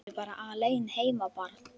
Ertu bara alein heima barn?